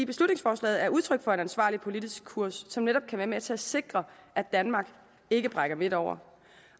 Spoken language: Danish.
beslutningsforslaget er udtryk for en ansvarlig politisk kurs som netop kan være med til at sikre at danmark ikke brækker midt over